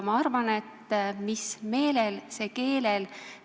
Ma arvan, et mis meelel, see keelel.